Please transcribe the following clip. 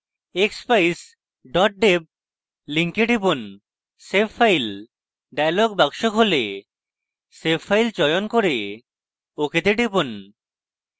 expeyes deb link টিপুন